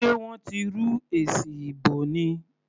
Sé wọ́n ti rú èsì ìbò ni?